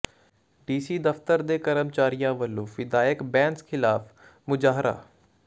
DC ਦਫ਼ਤਰ ਦੇ ਕਰਮਚਾਰੀਆਂ ਵਲੋਂ ਵਿਧਾਇਕ ਬੈਂਸ ਖ਼ਿਲਾਫ਼ ਮੁਜ਼ਾਹਰਾ